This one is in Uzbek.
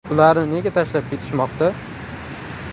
ularni nega tashlab ketishmoqda?